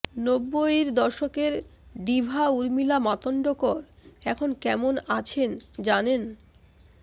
নব্বইয়ের দশকের ডিভা উর্মিলা মাতন্ডকর এখন কেমন আছেন জানেন